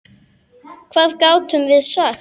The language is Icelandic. Hvað gátum við sagt?